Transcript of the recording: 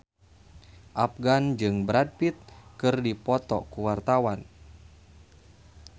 Afgan jeung Brad Pitt keur dipoto ku wartawan